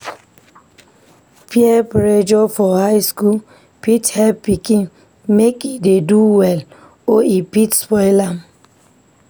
Peer pressure for high school fit help pikin make e dey do well or e fit spoil am.